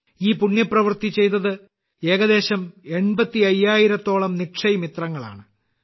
ഈ പുണ്യപ്രവൃത്തി ചെയ്തത് ഏകദേശം 85000ത്തോളം നിക്ഷയ് മിത്രങ്ങളാണ്